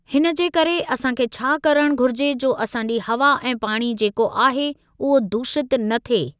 हिन जे करे असांखे छा करणु घुरिजे जो असांजी हवा ऐ पाणी जेको आहे उहो दूषितु न थिए।